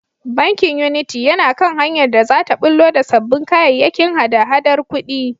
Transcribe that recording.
Bankin Unity yana kan hanyar da za ta ɓullo da sabbin kayayyakin hada-hadar kuɗi.